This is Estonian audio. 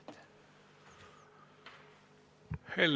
Aitäh!